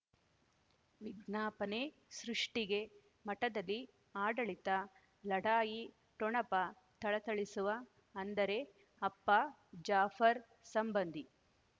ವಿಜ್ಞಾಪನೆ ಸೃಷ್ಟಿಗೆ ಮಠದಲ್ಲಿ ಆಡಳಿತ ಲಢಾಯಿ ಠೊಣಪ ಥಳಥಳಿಸುವ ಅಂದರೆ ಅಪ್ಪ ಜಾಫರ್ ಸಂಬಂಧಿ